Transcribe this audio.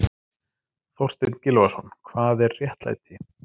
Þorstein Gylfason, Hvað er réttlæti?